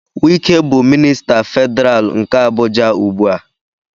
Wike bụ minista Federal nke Abuja ugbu a.